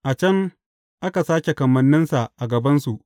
A can aka sāke kamanninsa a gabansu.